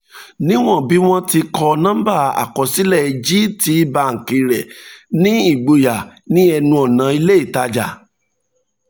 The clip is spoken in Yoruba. níwọ̀n bí wọ́n ti kọ nọ́ńbà àkọsílẹ̀ gtbank rẹ̀ ní ìgboyà ní ẹnu ọ̀nà ilé ìtajà